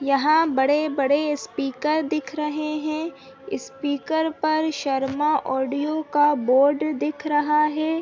यहां बड़े-बड़े स्पीकर दिख रहें हैं स्पीकर पर शर्मा ऑडियो का बोर्ड दिख रहा है।